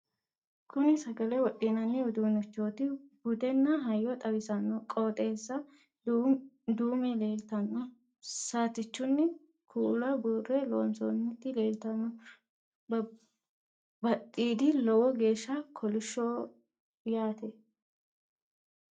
kuni sagale wodhinanni uduunnichooti budenna hayyo xawisanno qooxeessa dume leltanno saatichunni kuula buurre loonsoonniti leeltanno badhidi lowo geeshsha kolishsho yaate